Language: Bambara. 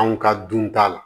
Anw ka dun ta la